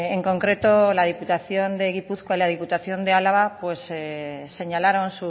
en concreto la diputación de gipuzkoa y la diputación de álava señalaron